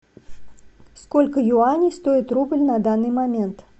сколько юаней стоит рубль на данный момент